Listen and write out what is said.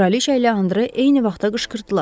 Kraliçə ilə Andre eyni vaxtda qışqırdılar.